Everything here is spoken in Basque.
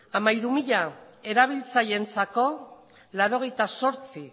hamairu mila erabiltzaileentzako laurogeita zortzi